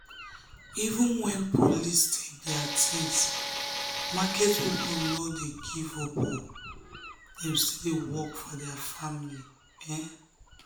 even when police take their things market people no dey give up dem still dey work for their family.